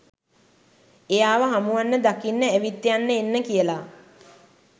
එයාව හමුවන්න දකින්න ඇවිත් යන්න එන්න කියලා